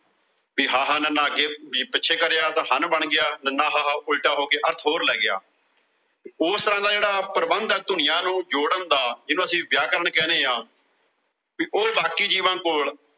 ਵੀ ਹਾਹਾ ਨ ਹ ਵੀ ਪਿੱਛੇ ਕਰਿਆ ਤਾਂ ਹਨ ਬਣ ਗਿਆ ਨ ਹ ਉਲਟਾ ਹੋ ਕੇ ਅਰਥ ਹੋਰ ਲੈ ਗਿਆ। ਓਸ ਦਾ ਪ੍ਰਬੰਧ ਆ ਜਿਹੜਾ ਧੁਨੀਆਂ ਨੂੰ ਜੋੜਨ ਦਾ, ਜੀਹਨੂੰ ਅਸੀਂ ਵਿਆਕਰਨ ਕਹਿਨੇੇ ਆਂ ਕਿ ਉਹ ਬਾਕੀ ਜੀਵਾਂ ਕੋਲ